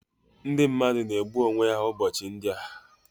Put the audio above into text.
Ndị mmadụ na-egbu onwe ha ụbọchị ndị a